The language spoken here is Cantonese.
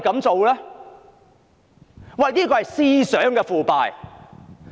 這是思想上的腐敗。